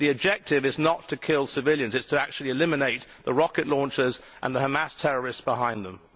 But the objective is not to kill civilians it is to eliminate the rocket launchers and the Hamas terrorists behind them.